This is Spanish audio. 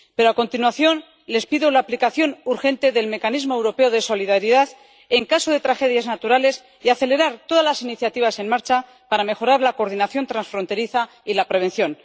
Pero a continuación les pido la aplicación urgente del mecanismo europeo de solidaridad en caso de tragedias naturales y la aceleración de todas las iniciativas en marcha para mejorar la coordinación transfronteriza y la prevención.